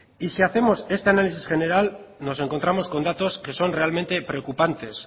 y si hacemos este análisis general nos encontramos con datos que son realmente preocupantes